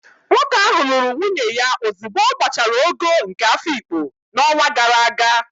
Nwoke ahụ lụrụ nwunye ya ozugbo ọ gbachara ogo nke Afikpo n'ọnwa gara aga